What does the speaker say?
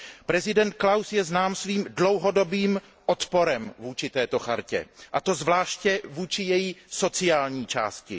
Prezident Klaus je znám svým dlouhodobým odporem vůči této listině, a to zvláště vůči její sociální části.